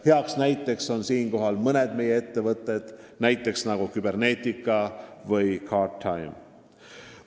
Heaks näiteks on siinkohal mõned meie ettevõtted, nagu Cybernetica ja Guardtime.